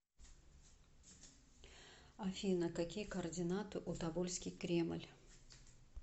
афина какие координаты у тобольский кремль